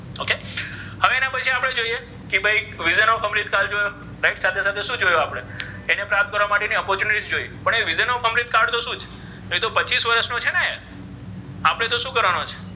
કે ભઇ વિધાન અમ્રુત કાળ right સાથે સાથે શુ જોયુ આપ્ણે જેને પ્રાપ્ત કરવા માટેની opportunity પણ એ વિધેય નો complete કાળ જોશે પચીસ્ વર્ષ નો છે ને એ આપણે તો શુ કરવાનો છે.